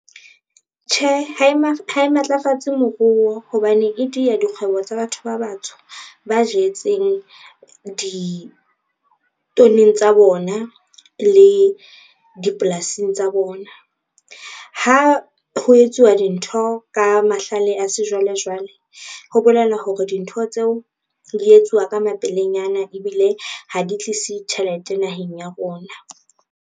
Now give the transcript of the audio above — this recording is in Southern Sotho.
Tjhe, ha e matlafatsa moruo hobane e dia dikgwebo tsa batho ba batsho, ba jetseng ditoning tsa bona le dipolasing tsa bona. Ha ho etsuwa dintho ka mahlale a sejwalejwale, ho bolela hore dintho tseo di etsuwa ka mapelenyana ebile ha di tlise tjhelete naheng ya rona.